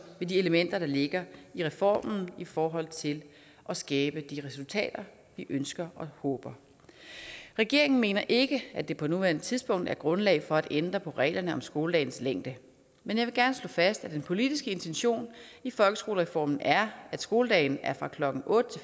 med de elementer der ligger i reformen i forhold til at skabe de resultater vi ønsker og håber regeringen mener ikke at det på nuværende tidspunkt er grundlag for at ændre på reglerne om skoledagens længde men jeg vil gerne slå fast at den politiske intention i folkeskolereformen er at skoledagen er klokken otte